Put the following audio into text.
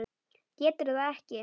Getur það ekki.